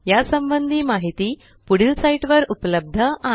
या संबंधी माहिती पुढील साईटवर उपलब्ध आहे